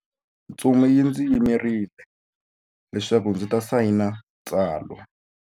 Ntsumi yi ndzi yimerile leswaku ndzi ta sayina tsalwa.